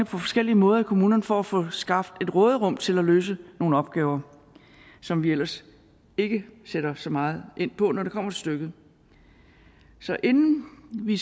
forskellige måder i kommunerne for at få skabt et råderum til at løse nogle opgaver som vi ellers ikke sætter så meget ind på når det kommer til stykket så inden vi